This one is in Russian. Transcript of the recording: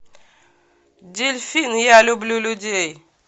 дельфин я люблю людей